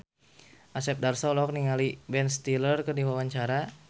Asep Darso olohok ningali Ben Stiller keur diwawancara